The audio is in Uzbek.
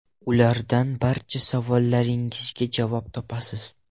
Ulardan barcha savollaringizga javob topasiz.